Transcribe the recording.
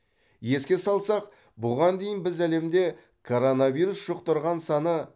еске салсақ бұған дейін біз әлемде коронавирус жұқтырған саны